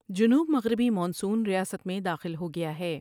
جنوب مغربی مانسون ریاست میں داخل ہو گیا ہے ۔